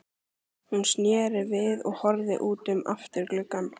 Hún sneri sér við og horfði út um afturgluggann.